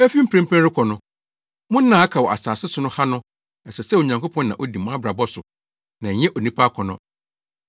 Efi mprempren rekɔ no, mo nna a aka wɔ asase so ha no, ɛsɛ sɛ Onyankopɔn na odi mo abrabɔ so na ɛnyɛ onipa akɔnnɔ.